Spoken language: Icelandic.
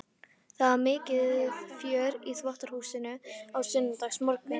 Það var mikið fjör í þvottahúsinu á sunnudagsmorgnum.